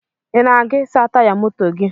Ị na-aga ịsa taya moto gi?